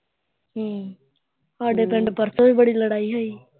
ਠੀਕ ਸਾਡੇ ਪਿੰਡ ਪਰਸੋਂ ਵੀ ਬੜੀ ਲੜਾਈ ਹੋਈ